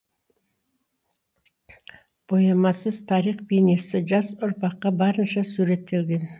боямасыз тарих бейнесі жас ұрпаққа барынша суреттелген